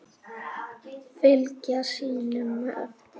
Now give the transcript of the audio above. Fylgja sínum eftir.